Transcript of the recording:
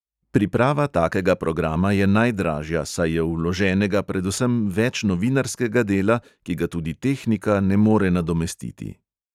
Priprava takega programa je najdražja, saj je vloženega predvsem več novinarskega dela, ki ga tudi tehnika ne more nadomestiti.